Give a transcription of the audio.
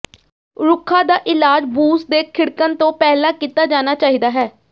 ਰੁੱਖਾਂ ਦਾ ਇਲਾਜ ਬੂਸ ਦੇ ਖਿੜਣ ਤੋਂ ਪਹਿਲਾਂ ਕੀਤਾ ਜਾਣਾ ਚਾਹੀਦਾ ਹੈ